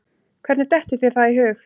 Hvernig dettur þér það í hug?